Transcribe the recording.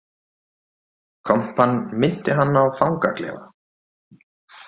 Kompan minnti hann á fangaklefa